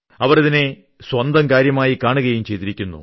അവർ ഇതിനെ സ്വന്തം കാര്യമായി കാണുകയും ചെയ്തിരിക്കുന്നു